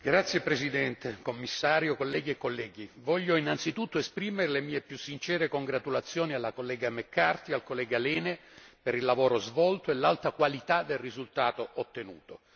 Signor Presidente, signor Commissario, onorevoli colleghi, voglio innanzitutto esprimere le mie più sincere congratulazioni alla collega McCarthy e al collega Lehne per il lavoro svolto e l'alta qualità del risultato ottenuto.